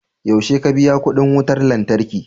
yaushe ka biya kudin wutar lantarki?